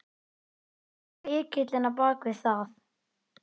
Hver er lykillinn á bakvið það?